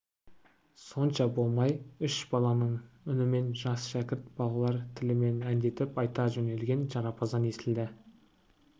сонша болмай үш баланың үнімен жас шәкірт балалар тілімен әндетіп айта жөнелген жарапазан естілді